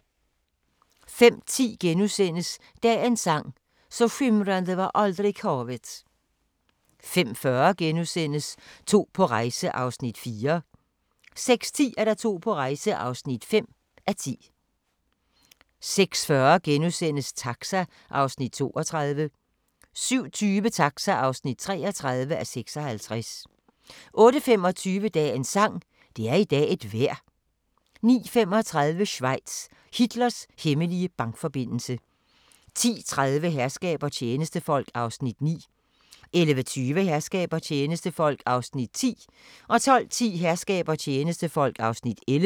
05:10: Dagens sang: Så skimrande var aldrig havet * 05:40: To på rejse (4:10)* 06:10: To på rejse (5:10) 06:40: Taxa (32:56)* 07:20: Taxa (33:56) 08:25: Dagens sang: Det er i dag et vejr 09:35: Schweiz – Hitlers hemmelige bankforbindelse 10:30: Herskab og tjenestefolk (9:68) 11:20: Herskab og tjenestefolk (10:68) 12:10: Herskab og tjenestefolk (11:68)